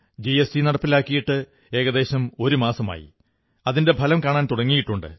GST നടപ്പിലാക്കിയിട്ട് ഏകദേശം ഒരു മാസമായി അതിന്റെ ഫലം കാണാൻ തുടങ്ങിയിട്ടുണ്ട്